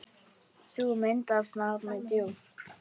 Sú mynd snart mig djúpt.